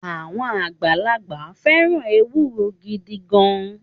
Àwọn àgbàlagbà fẹ́ràn ewuro gidi gan-an